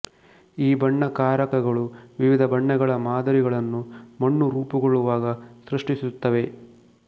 ಈ ಬಣ್ಣಕಾರಕಗಳು ವಿವಿಧ ಬಣ್ಣಗಳ ಮಾದರಿಗಳನ್ನು ಮಣ್ಣು ರೂಪುಗೊಳ್ಳುವಾಗ ಸೃಷ್ಟಿಸುತ್ತವೆ